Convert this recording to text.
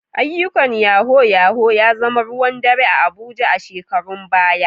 Ayyukan Yahoo yahoo ya zama ruwan dare a Abuja a shekarun baya.